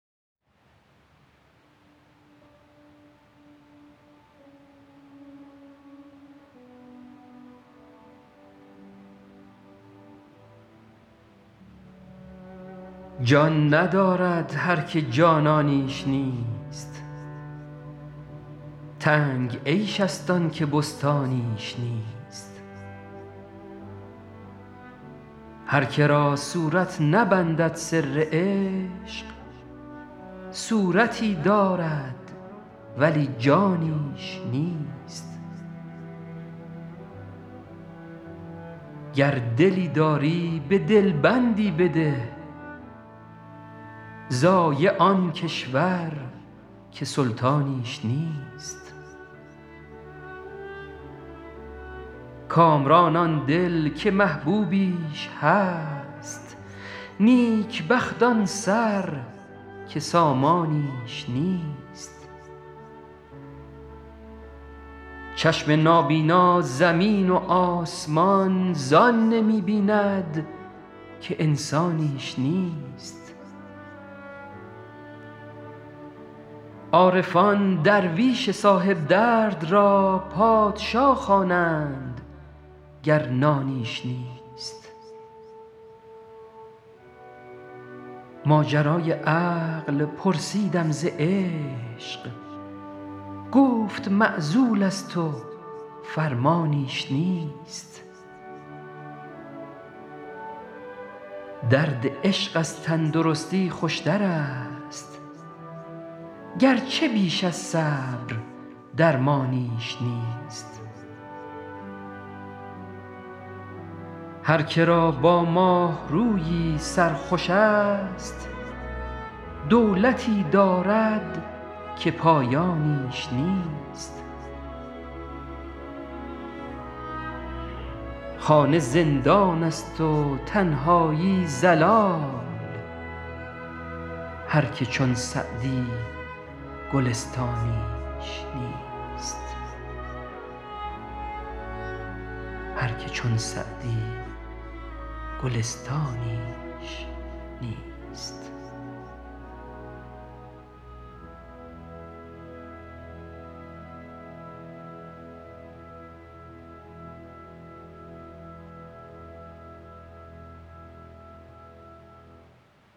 جان ندارد هر که جانانیش نیست تنگ عیش ست آن که بستانیش نیست هر که را صورت نبندد سر عشق صورتی دارد ولی جانیش نیست گر دلی داری به دل بندی بده ضایع آن کشور که سلطانیش نیست کامران آن دل که محبوبیش هست نیک بخت آن سر که سامانیش نیست چشم نابینا زمین و آسمان زان نمی بیند که انسانیش نیست عارفان درویش صاحب درد را پادشا خوانند گر نانیش نیست ماجرای عقل پرسیدم ز عشق گفت معزول ست و فرمانیش نیست درد عشق از تن درستی خوش ترست گرچه بیش از صبر درمانیش نیست هر که را با ماه رویی سر خوش ست دولتی دارد که پایانیش نیست خانه زندان ست و تنهایی ضلال هر که چون سعدی گلستانیش نیست